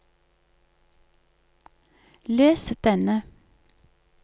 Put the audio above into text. les denne